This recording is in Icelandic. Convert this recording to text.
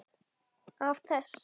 Af þess